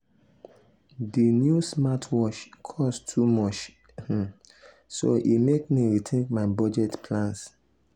di new smartwatch cost too much um so e mek me rethink my budget plans.